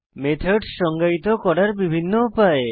methods সংজ্ঞায়িত করার বিভিন্ন উপায়